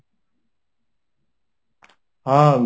ହଁ,